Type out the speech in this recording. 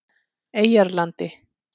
Eyjarlandi